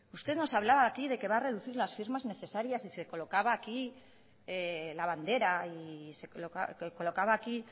usted nos hablaba aquí de que va a reducir las firmas necesarias y se colocaba aquí